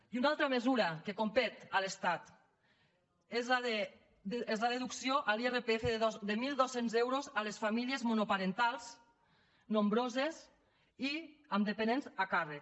i una altra mesura que competeix a l’estat és la deducció a l’irpf de mil dos cents euros a les famílies monoparentals nombroses i amb dependents a càrrec